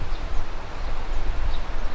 Maşın.